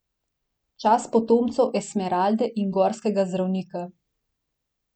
Čas potomcev Esmeralde in Gorskega zdravnika.